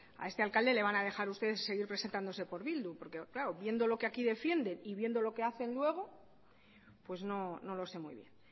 a este alcalde le van a dejar ustedes seguir presentándose por bildu porque claro viendo lo que aquí defiende y viendo lo que hacen luego pues no lo sé muy bien